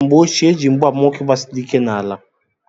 N'mgbe ochie eji mgba ama nwoke gbasiri ike n'ala.